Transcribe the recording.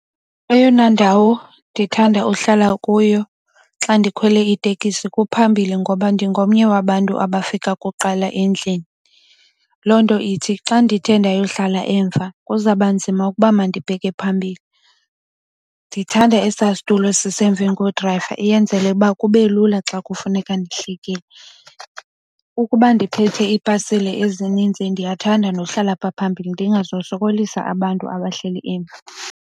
Eyona ndawo ndithanda uhlala kuyo xa ndikhwele itekisi kumphambili ngoba ndingomnye wabantu abafika kuqala endlini. Loo nto ithi xa ndithe ndayohlala emva kuzawuba nzima ukuba mandibheke phambili. Ndithanda esaa situlo sisemveni kodrayiva iyenzele ukuba kube lula xa kufuneka ndihlikile. Ukuba ndiphethe iipasile ezininzi ndiyathanda nokuhlala pha phambili ndingazosokolisa abantu abahleli emva.